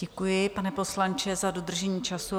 Děkuji, pane poslanče, za dodržení času.